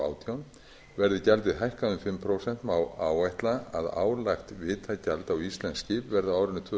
þrjátíu og tvær milljónir níutíu og tvö þúsund fimm hundruð og átján krónur verði gjaldið hækkað um fimm prósent má áætla að álagt vitagjald á íslensk skip verði á árinu tvö